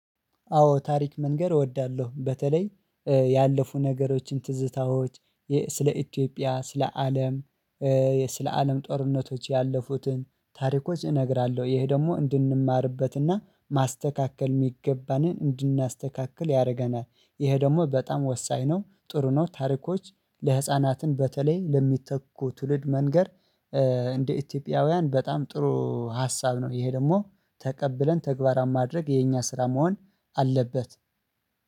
አዎ ታሪክ መንገር እወዳለሁ። በተለይ ያለፉ ነገሮችን ትዝታዎች ስለ ኢትዮጵያ ስለ አለም ስለ አለም ጦርነቶች ያለፉትን ታሪኮች እነግራለሁ። ይሄ ደግሞ እንድንማርበትና ማስተካከል የሚገባንን እንድናስተካክል ያደርገናል። ይሄ ደግሞ በጣም ወሳኝ ነው። ጥሩ ነው። ታሪኮች ለህፃናትን በተለይ ለሚተኩ ትውልድ መንገር። እንደ ኢትዮጵያውያን በጣም ጥሩ ሀሳብ ነው። ይሄ ደግሞ ተቀብለን ተግባራን ማድረግ የኛ ስራ መሆን አለበት